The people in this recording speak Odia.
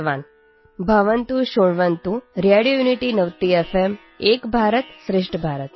ଆପଣମାନେ ଶୁଣନ୍ତୁ radio unity ninety FM Ek Bharat Shreshtha Bharat